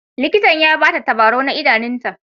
Likitan ya ba ta tabarau na idanunta.